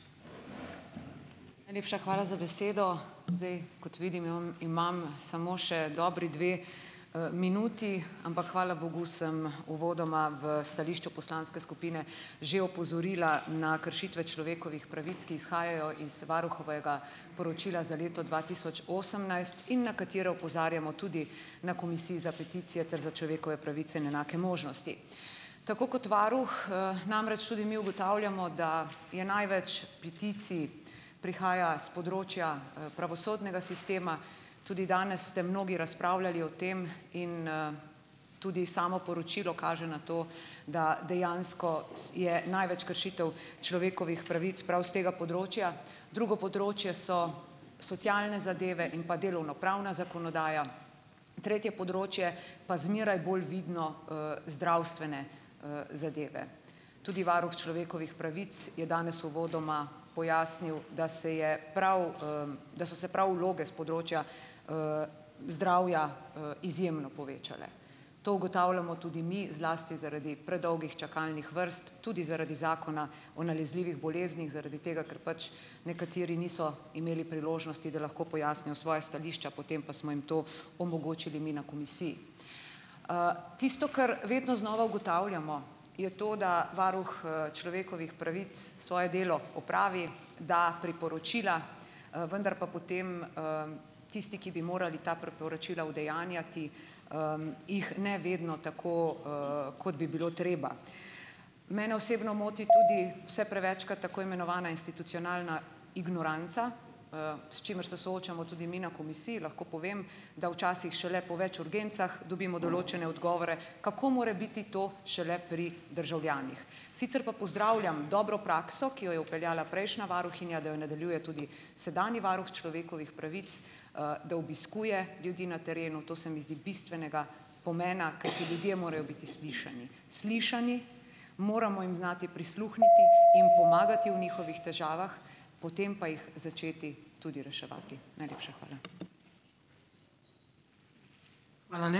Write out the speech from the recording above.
Najlepša hvala za besedo. Zdaj, kot vidim, imam imam samo še dobri dve, minuti, ampak hvala bogu sem uvodoma v stališču poslanske skupine že opozorila na kršitve človekovih pravic, ki izhajajo iz varuhovega poročila za leto dva tisoč osemnajst in na katere opozarjamo tudi na za peticije ter za človekove pravice in enake možnosti. Tako kot varuh, namreč tudi mi ugotavljamo, da je največ peticij prihaja s področja, pravosodnega sistema. Tudi danes ste mnogi razpravljali o tem in, tudi samo poročilo kaže na to, da dejansko je največ kršitev človekovih pravic prav s tega področja. Drugo področje so socialne zadeve in pa delovnopravna zakonodaja. Tretje področje pa zmeraj bolj vidno, zdravstvene, zadeve. Tudi varuh človekovih pravic je danes uvodoma pojasnil, da se je prav, da so se prav vloge s področja, zdravja, izjemno povečale. To ugotavljamo tudi mi, zlasti zaradi predolgih čakalnih vrst, tudi zaradi zakona o nalezljivih boleznih zaradi tega, ker pač nekateri niso imeli priložnosti, da lahko pojasnijo svoja stališča, potem pa smo jim to omogočili mi na komisiji. Tisto, kar vedno znova ugotavljamo, je to, da varuh, človekovih pravic svoje delo opravi, da priporočila, vendar pa potem, tisti, ki bi morali ta priporočila udejanjati, jih ne vedno tako, kot bi bilo treba. Mene osebno moti tudi vse prevečkrat tako imenovana institucionalna ignoranca, s čimer se soočamo tudi mi na komisiji, lahko povem, da včasih šele po več urgencah dobimo določene odgovore. Kako more biti to šele pri državljanih. Sicer pa pozdravljam dobro prakso, ki jo je vpeljala prejšnja varuhinja, da jo nadaljuje tudi sedanji varuh človekovih pravic, da obiskuje ljudi na terenu, to se mi zdi bistvenega pomena, kajti ljudje morajo biti slišani. Slišani, moramo jim znati prisluhniti, jim pomagati v njihovih težavah, potem pa jih začeti tudi reševati. Najlepša hvala.